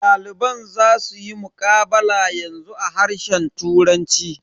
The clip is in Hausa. Daliban za suyi muqabala yanzu a harshen turanci.